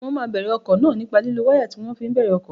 Mo máa bèrè ọkọ̀ náà nípa lílo wáyà tí wọ́n fi ń bẹ̀rẹ̀ ọkọ̀